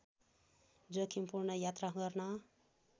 जोखिमपूर्ण यात्रा गर्न